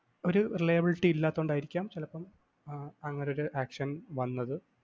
ഒരു reliablity യും ഇല്ലാത്തകൊണ്ടായിരിക്കാം ചിലപ്പം ആഹ് അങ്ങനെ ഒരു action വന്നത്